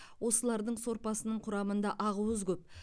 осылардың сорпасының құрамында ақуыз көп